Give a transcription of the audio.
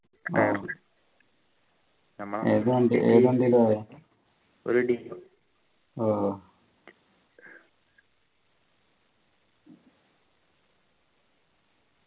ഓ ഏത് വണ്ടി ഏത് വണ്ടീല പോയെ ഓ